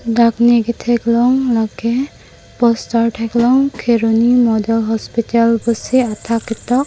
dak ne kethek long la ke poster thek long kheroni model hospital pusi athak ketok.